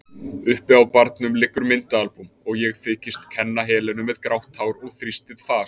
Uppi á barnum liggur myndaalbúm, ég þykist kenna Helenu með grátt hár og þrýstið fas.